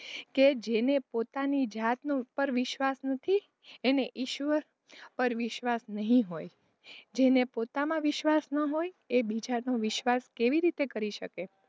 કે જેને પોતાની જાતનાં ઉપર વિશ્વાસ નથી એણે ઈશ્વર પર વિશ્વાસ નહીં હોય જેને પોતામાં વિશ્વાસ ન હોય એ બીજાનો વિશ્વાસ કેવી રીતે કરી શકે.